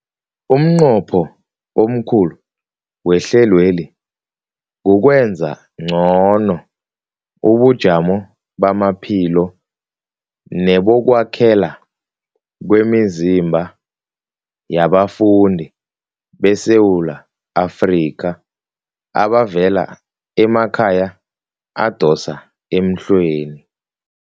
Umnqopho omkhulu wehlelweli kukwenza ngcono ubujamo bamaphilo nebokwakhela kwemizimba yabafundi beSewula Afrika abavela emakhaya adosa emhlweni.